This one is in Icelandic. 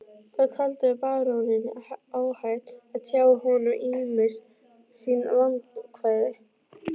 Þá taldi baróninn óhætt að tjá honum ýmis sín vandkvæði.